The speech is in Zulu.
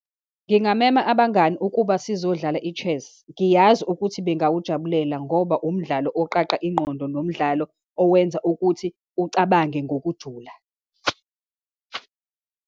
Ngingamema abangani ukuba sizodlala i-chess. Ngiyazi ukuthi bengawujabulela ngoba umdlalo okuqaqa ingqondo, nomdlalo owenza ukuthi ucabange ngokujula.